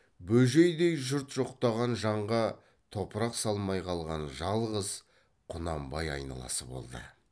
бөжейдей жұрт жоқтаған жанға топырақ салмай қалған жалғыз құнанбай айналасы болды